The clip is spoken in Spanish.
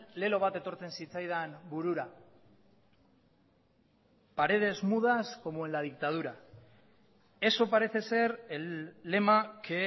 lelo bat etortzen zitzaidan burura paredes mudas como en la dictadura eso parece ser el lema que